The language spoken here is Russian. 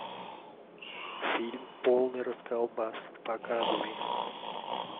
фильм полный расколбас показывай